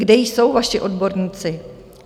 Kde jsou vaši odborníci?